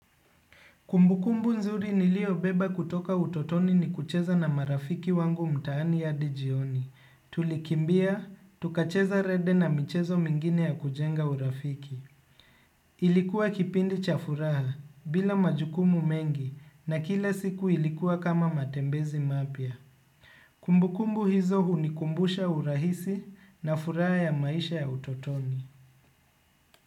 Kumbukumbu nzuri niliobeba kutoka utotoni ni kucheza na marafiki wangu mtaani hadi jioni. Tulikimbia, tukacheza rende na michezo mingine ya kujenga urafiki. Ilikuwa kipindi cha furaha bila majukumu mengi na kila siku ilikuwa kama matembezi mapya. Kumbukumbu hizo hunikumbusha urahisi na furaha ya maisha ya utotoni.